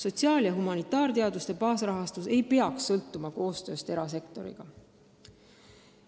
Sotsiaal- ja humanitaarteaduste baasrahastus ei peaks sõltuma koostööst erasektoriga.